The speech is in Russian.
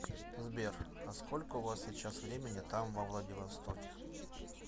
сбер а сколько у вас сейчас времени там во владивостоке